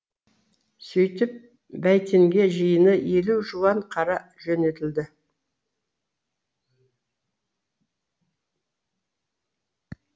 сөйтіп бәйтенге жиыны елу жуан қара жөнелтілді